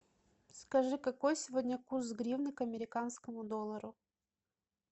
скажи какой сегодня курс гривны к американскому доллару